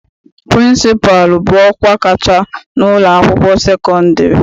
Pịrịnsịpalụ bụ ọkwa kacha n'ụlọakwụkwọ sekọndịrị.